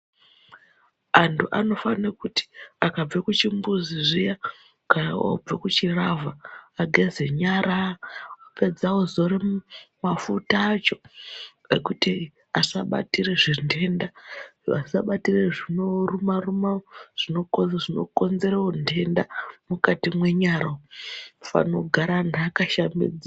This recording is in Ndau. Antu anofane kuti akabve kuchimbuzi zviya kana oobve kuchilavha ageze nyara apedza ozore mafuta acho kuti vasabatire zvintenda vasabatire zvinorumaruma zvinokonzere untenda mukati mwenyara unofane kugara antu akashambidzika.